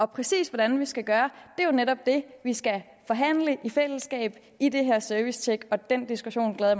præcis hvordan vi skal gøre er netop det vi skal forhandle i fællesskab i det her servicetjek og den diskussion glæder